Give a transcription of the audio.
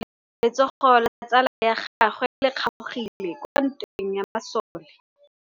Letsôgô la tsala ya gagwe le kgaogile kwa ntweng ya masole.